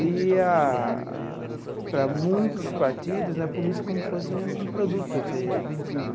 E a, para muitos partidos né, a política é como se fosse um produto a ser vendido.